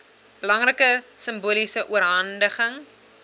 belangrike simboliese oorhandiging